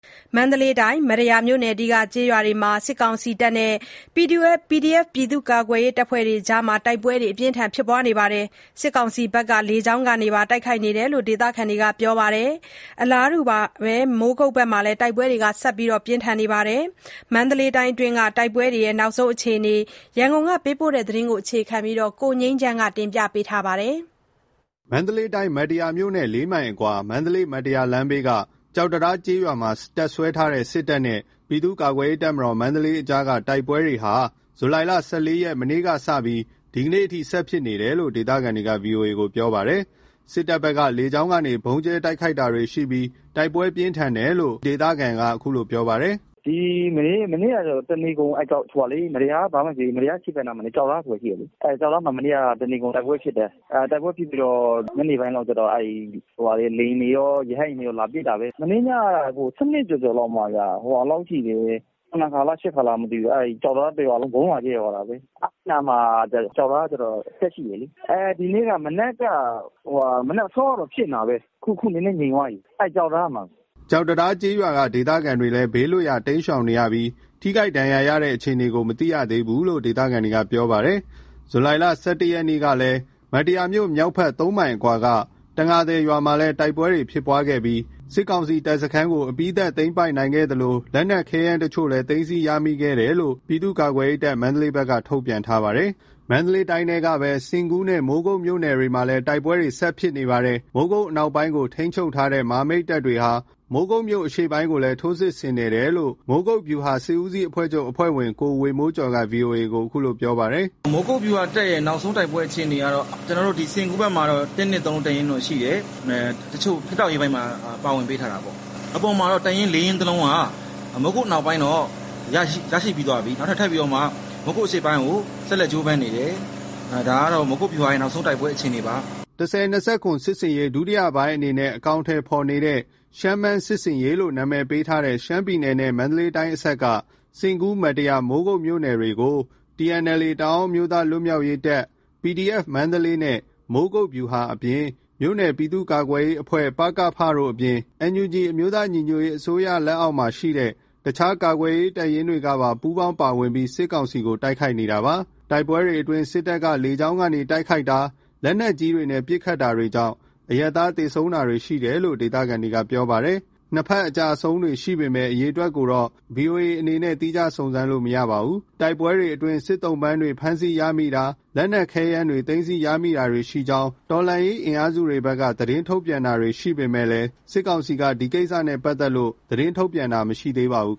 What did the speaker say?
မန္တလေးတိုင်း၊ မတ္တရာမြို့အနီးက ကျေးရွာတွေမှာ စစ်တပ်နဲ့ PDF ကာကွယ်ရေးတပ်ဖွဲ့တွေ တိုက်ပွဲတွေဖြစ်ပွားနေတာမှာ စစ်တပ်က လေကြောင်းကနေ တိုက်ခိုက်တာတွေရှိတယ်လို့ ဒေသခံတွေက ပြောပါတယ်။ အလားတူဘဲ မိုးကုတ်ဘက်မှာလည်း တိုက်ပွဲတွေ ဆက်ရှိနေပါတယ်။ မန္တလေးတိုင်းကအတွင်းက တိုက်ပွဲ နောက်ဆုံးအခြေအနေ ရန်ကုန်ကပေးပို့တဲ့သတင်းကို အခြေခံပြီး ကိုငြိမ်းချမ်းက တင်ပြပေးထားပါတယ်။ မန္တလေးတိုင်း၊ မတ္တရာမြို့နဲ့ ၄ မိုင်အကွာ မန္တလေး-မတ္တရာလမ်းဘေးက ကျောက်တံတား ကျေးရွာမှာ တပ်စွဲထားတဲ့ စစ်တပ်နဲ့ ပြည်သူ့ကာကွယ်ရေးတပ်မတော် အကြားက တိုက်ပွဲတွေဟာ ဇူလိုင် ၁၄ ရက်၊ မနေ့ကစပြီး ဒီကနေ့အထိ ဆက်ဖြစ်နေတယ်လို့ ဒေသခံတွေက ဗွီအိုအေကို ပြောပါတယ်။ စစ်တပ်ဘက်က လေကြောင်းကနေ ဗုံးကြဲတိုက်ခိုက်တာတွေရှိပြီး တိုက်ပွဲပြင်းထန်တယ်လို့ မတ္တရာ ဒေသခံတဦးက အခုလို ပြောပါတယ်။ "မနေ့က တနေကုန် မတ္တရာအရှေ့ဘက် ကျောက်တံတားဆိုတာရှိတယ်။ အဲ့ကျောက်တံတားမှာ တနေကုန်တိုက်ပွဲဖြစ်တယ်။ တိုက်ပွဲဖြစ်ပြီးတော့ ညနေပိုင်းလောက်ကျတော့ လေယာဉ်တွေကော ရဟတ်ယာဉ်တွေကော လာပစ်တာပဲ။ မနေ့ညက ၁၂ ကျော်ကျော်လောက်မှာ ၇ ခါလား ၈ ခါလားမသိဘူး အဲ့ကျောက်တံတား တရွာလုံး ဗုံးလာကြဲသွားတာပဲ။အဲ့ကျောက်တံတားမှာက တပ်ရှိတယ်လေ။ ဒီနေ့က မနက်အစောကတော့ ဖြစ်နေတာပဲ။ အခုနည်းနည်းငြိမ်သွားပြီ အဲ့ကျောက်တံတားမှာ။" ကျောက်တံတား ကျေးရွာက ဒေသခံတွေလည်း ဘေးလွတ်ရာ တိမ်းရှောင်နေရပြီး ထိခိုက် ဒဏ်ရာရတဲ့အခြေအနေကို မသိရှိရသေးဘူးလို့ ဒေသခံတွေက ပြောပါတယ်။ ဇူလိုင် ၁၁ ရက်ကလည်း မတ္တရာမြို့မြောက်ဖက် ၃ မိုင်အကွာက တံငါသည်ရွာမှာလည်း တိုက်ပွဲတွေဖြစ်ခဲ့ပြီး အပြီးသတ် သိမ်းပိုက်နိုင်ခဲ့သလို လက်နက်ခဲယမ်းအချို့လည်း သိမ်းဆည်းရမိခဲ့တယ်လို့ ပြည်သူ့ကာကွယ်ရေးတပ် ဘက်က ထုတ်ပြန်ထားပါတယ်။ မန္တလေးတိုင်းထဲကပဲ စဉ့်ကူးနဲ့ မိုးကုတ်မြို့နယ်တွေမှာလည်း တိုက်ပွဲတွေ ဆက်ရှိနေပါတယ်။ မိုးကုတ်အနောက်ပိုင်းကို ထိန်းချုပ်ထားတဲ့ မဟာမိတ်တပ်တွေဟာ မိုးကုတ်မြို့အရှေ့ပိုင်းကိုလည်း ထိုးစစ်ဆင်နေတယ်လို့ မိုးကုတ်ဗျူဟာ စစ်ဦးစီးချုပ်အဖွဲ့ဝင် ကိုဝေမိုးကျော်က ဗွီအိုအေကို အခုလို ပြောပါတယ်။ "မိုးကုတ်ဗျူဟာတပ်ရဲ့ နောက်ဆုံး တိုက်ပွဲအခြေအနေကတော့ စဉ့်ကူးဘက်မှာတော့ ၁-၂-၃ တပ်ရင်းတော့ ရှိတယ်။ တချို့ ဖြတ်တောက်ရေးအပိုင်းမှာ ပါဝင်ပေးထားတာပေါ့။ အပေါ်မှာတော့ တပ်ရင်း ၄ရင်းကတော့ မိုးကုတ်အနောက်ပိုင်းမှာတော့ ရရှိပြီးသွားပြီ။ မိုးကုတ်အရှေ့ပိုင်းဆက်လက်ကြိုးပမ်းနေတယ်။ ဒါကတော့ မိုးကုတ်ဗျူဟာရဲ့ နောက်ဆုံးအခြေအနေပါ။" ၁၀၂၇ စစ်ဆင်ရေး ဒုတိယပိုင်းမှာ အကောင်အထည်ဖေါ်နေတဲ့ ရှမ်း-မန်း စစ်ဆင်ရေးလို့ အမည်ပေးထားတဲ့ ရှမ်းပြည်နယ်နဲ့ မန္တလေးတိုင်းအစပ်က စဉ့်ကူး-မတ္တရာ-မိုးကုတ် မြို့နယ်တွေကို TNLA တအာင်းမျိုးသားလွတ်မြောက်ရေးတပ်၊ PDF နဲ့ မိုးကုတ်ဗျူဟာအပြင် မြို့နယ်ပြည်သူ့ကာကွယ်ရေးအဖွဲ့ တို့အပြင် NUG အမျိုးသားညီညွတ်ရေးအစိုးရအောက်မှာရှိတဲ့ အခြားကာကွယ်ရေးတပ်ရင်းတွေက ပူးပေါင်းပါ၀င်ပြီး စစ်ကောင်စီတပ်တွေ တိုက်ခိုက်နေတာဖြစ်ပါတယ်။ တိုက်ပွဲအတွင်း စစ်တပ်က လေကြောင်းကနေ တိုက်ခိုက်တာ၊ လက်နက်ကြီးတွေနဲ့ ပစ်ခတ်တာတွေကြောင့် အရပ်သား သေဆုံးတာတွေ ရှိတယ်လို့လည်း ဒေသခံတွေကပြောပါတယ်။ နှစ်ဖက် အကျအဆုံးတွေရှိပေမဲ့ အရေအတွက်ကိုတော့ ဗွီအိုအေအနေနဲ့ သီးခြားစုံစမ်းလို့ မရသေးပါဘူး။ တိုက်ပွဲတွေအတွင်း စစ်သုံ့ပန်ဖမ်းဆီးရမိတာ၊ လက်နက်ခဲယမ်း သိမ်းဆည်းရမိတာတွေရှိကြောင်း တော်လှန်ရေးအင်အားစုတွေဘက်က သတင်းထုတ်ပြန်တာတွေ ရှိပေမယ့် စစ်ကောင်စီက ဒီကိစ္စနဲ့ပတ်သက်လို့ သတင်းထုတ်ပြန်တာ မရှိသေးပါဘူး